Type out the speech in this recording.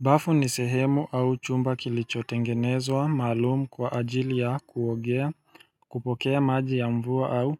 Bafu nisehemu au chumba kilichotengenezwa maalumu kwa ajili ya kuogea kupokea maji ya mvua au